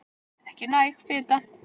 Ekki næg fita